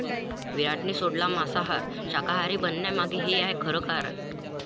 विराटनं सोडला मांसाहार, शाकाहारी बनण्यामागे हे आहे खरं कारण